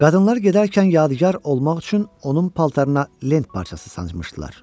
Qadınlar gedərkən yadigar olmaq üçün onun paltarına lent parçası sancmışdılar.